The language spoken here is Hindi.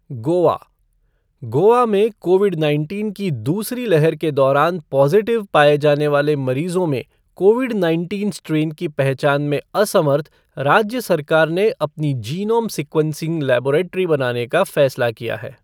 गोवा गोवा में कोविड नाइनटीन की दूसरी लहर के दौरान पॉजिटिव पाए जाने वाले मरीजों में कोविड नाइनटीन स्ट्रेन की पहचान में असमर्थ, राज्य सरकार ने अपनी जीनोम सीक्वेंसिंग लेबोरेट्री बनाने का फैसला किया है।